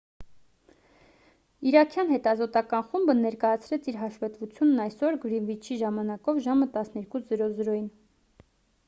իրաքյան հետազոտական խումբը ներկայացրեց իր հաշվետվությունն այսօր գրինվիչի ժամանակով ժամը 12.00-ին